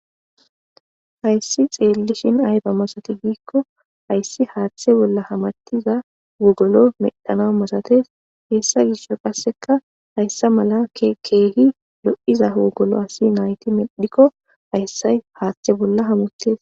Hayssi xeellishin ayba masati giikko hayssi haaththe bolla hamartiza wugolo medhana masates hessa gishsho qasseka hayssa mala keegi lo'iza hogolo asi nayti medhikko hayssay haaththe bolla hamutes.